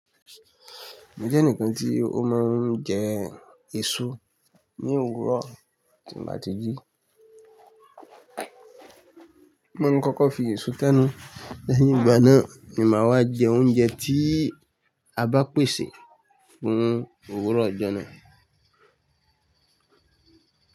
Mo jẹ́ ẹnìkan tí ó máa ń jẹ èso ní òwúrọ̀ tí n ba t jí. Mọ̀ ń kọ́kọ́ fi èso tẹ́nu lẹ́yìn ìgbà náà ni màá wá jẹ oúnjẹ tí a bá pèsè fún òwúrọ̀ ọjọ́ náà.